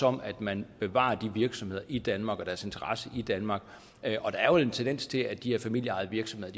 om at man bevarer de virksomheder i danmark og deres interesse i danmark og der er jo en tendens til at de her familieejede virksomheder